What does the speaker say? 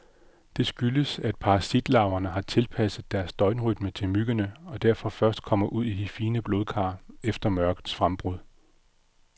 Det skyldes, at parasitlarverne har tilpasset deres døgnrytme til myggene, og derfor først kommer ud i de fine blodkar efter mørkets frembrud.